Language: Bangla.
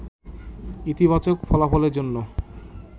ইতিবাচক ফলাফলের জন্য